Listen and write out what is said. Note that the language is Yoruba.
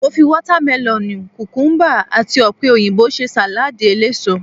Mo fi watamelonu, kukumuba, àti opeyinbo ṣe saladi eléso.